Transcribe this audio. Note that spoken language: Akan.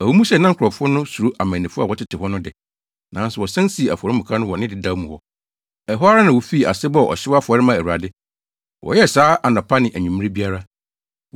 Ɛwɔ mu sɛ na nkurɔfo no suro amannifo a wɔtete hɔ no de, nanso wɔsan sii afɔremuka no wɔ ne dedaw mu hɔ. Ɛhɔ ara na wofii ase bɔɔ ɔhyew afɔre maa Awurade. Wɔyɛɛ saa anɔpa ne anwummere biara.